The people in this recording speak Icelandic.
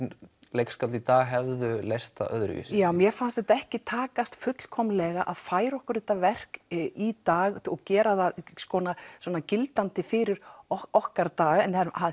leikskáld í dag hefðu leyst það öðruvísi já mér fannst þetta ekki takast fullkomnlega að færa okkur þetta verk í dag og gera það svona svona gildandi fyrir okkar daga en